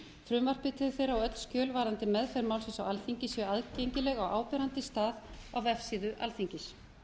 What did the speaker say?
frumvarpi til þeirra og öll skjöl varðandi meðferð málsins á alþingi séu aðgengileg á áberandi stað á vefsíðu alþingis